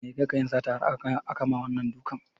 Mai ya kai ka yin sata har akama wannan dukan?